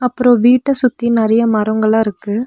அப்றோ வீட்ட சுத்தி நெறைய மரோங்கெல்லா இருக்கு.